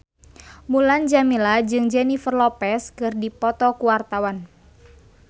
Mulan Jameela jeung Jennifer Lopez keur dipoto ku wartawan